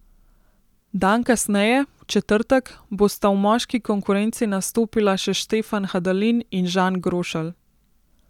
Dan kasneje, v četrtek, bosta v moški konkurenci nastopila še Štefan Hadalin in Žan Grošelj.